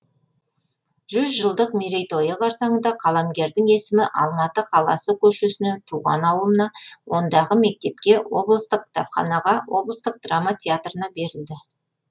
жүз жылдық мерейтойы қарсаңында қаламгердің есімі алматы қаласы көшесіне туған ауылына ондағы мектепке облыстық кітапханаға облыстық драма театрына берілді